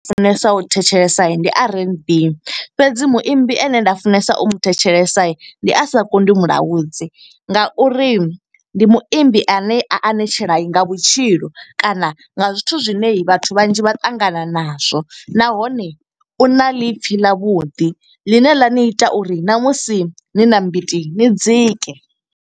Funesa u thetshelesa ndi R_N_B. Fhedzi muimbi ane nda funesa u mu thetshelesa ndi Asakonḓi Mulaudzi, nga uri ndi muimbi ane a anetshela nga vhutshilo. kana nga zwithu zwine vhathu vhanzhi vha ṱangana na zwo. Nahone u na ḽiipfi ḽa vhuḓi ḽine ḽa ni ita uri na musi ni na mbiti ni dzike.